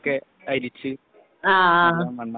മണ്ണൊക്കെ അരിച്ചു അത് നന്നാക്കി